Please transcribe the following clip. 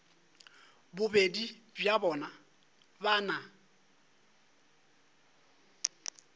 bobedi bja bona ba na